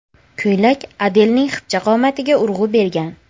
Ko‘ylak Adelning xipcha qomatiga urg‘u bergan.